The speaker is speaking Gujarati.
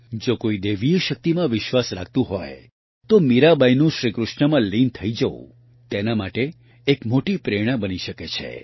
જો કોઇ દૈવીય શક્તિમાં વિશ્વાસ રાખતું હોય તો મીરાબાઇનું શ્રીકૃષ્ણમાં લીન થઇ જવું તેના માટે એક મોટી પ્રેરણા બની શકે છે